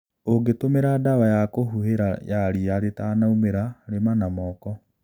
Ũngitũmira dawa ya kũhuhĩra ya rĩa rĩtanaumĩra, lĩma na moko